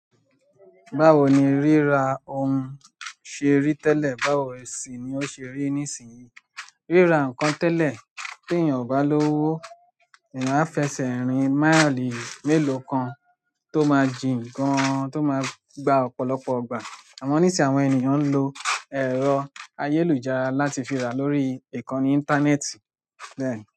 Báwo ni ríra ohun ṣe rí tẹ́lẹ̀ báwo sì ni ó ṣe rí nísìnyí. Ríra nǹkan tẹ́lẹ̀ tí èèyàn ò bá lówó, èèyàn á fẹsẹ̀ rin maili mélòó kan tó máa jìn gan-an tó máa gba ọ̀pọ̀lọpọ̀ ìgbà. Àmọ́ nísìnyí àwọn èèyàn ń lo ẹ̀rọ ayélujára láti fi rà lórí ìkànnì íńtánẹ́ẹ̀tì bẹ́ẹ̀ni.